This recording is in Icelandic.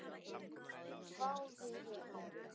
hváði ég.